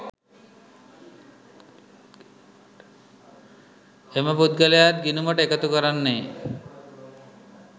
එම පුද්ගලයාත් ගිණුමට එකතු කරන්නේ